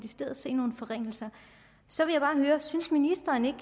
se nogle forringelser så vil jeg bare høre synes ministeren ikke